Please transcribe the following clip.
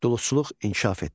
Duluzçuluq inkişaf etdi.